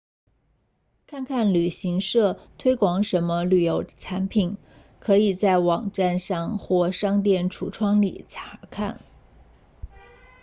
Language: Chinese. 看看旅行社推广什么旅游产品可以在网站上或商店橱窗里查看